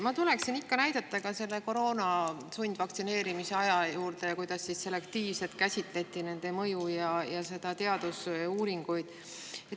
Ma tulen näidetes ikka selle koroona sundvaktsineerimise aja juurde, kui käsitleti selektiivselt mõju ja teadusuuringuid.